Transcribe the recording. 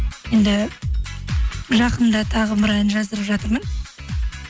енді жақында тағы бір ән жаздырып жатырмын